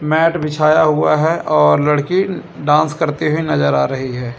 Mat बिछाया हुआ है और लड़की डांस करते हुए नजर आ रही है।